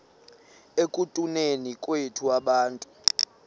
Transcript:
ekutuneni kwethu abantu